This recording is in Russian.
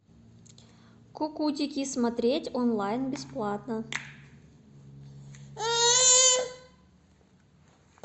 кукутики смотреть онлайн бесплатно